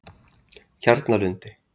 Kjarnalundi